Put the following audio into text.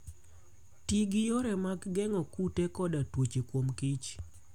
Ti gi yore mag geng'o kute koda tuoche kuom kich